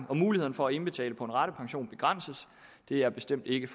og mulighederne for at indbetale på en ratepension begrænses det er bestemt ikke